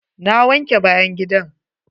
Na wanke bayan gidan.